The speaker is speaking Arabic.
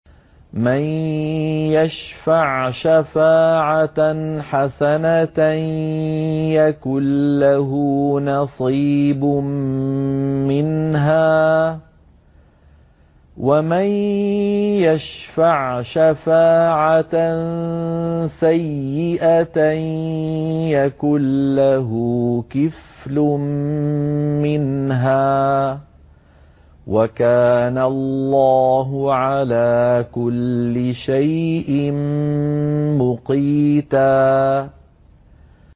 مَّن يَشْفَعْ شَفَاعَةً حَسَنَةً يَكُن لَّهُ نَصِيبٌ مِّنْهَا ۖ وَمَن يَشْفَعْ شَفَاعَةً سَيِّئَةً يَكُن لَّهُ كِفْلٌ مِّنْهَا ۗ وَكَانَ اللَّهُ عَلَىٰ كُلِّ شَيْءٍ مُّقِيتًا